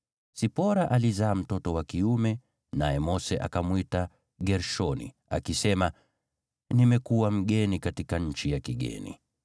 Sipora alizaa mtoto wa kiume, naye Mose akamwita Gershomu, akisema, “Nimekuwa mgeni katika nchi ya kigeni.”